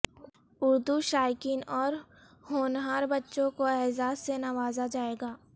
اردو شائقین اور ہونہار بچوں کو اعزاز سے نوازا جائے گا